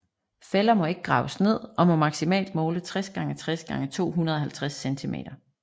Fælder må ikke graves ned og må maksimalt måle 60 x 60 x 250 centimeter